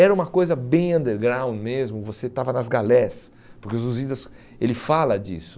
Era uma coisa bem underground mesmo, você estava nas galés, porque Os Lusíadas ele fala disso.